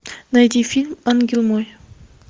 найди фильм ангел мой